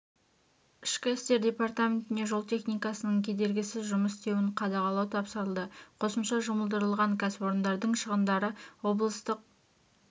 ішкі істер департаментіне жол техникасының кедергісіз жұмыс істеуін қадағалау тапсырылды қосымша жұмылдырылған кәсіпорындардың шығындары облыстық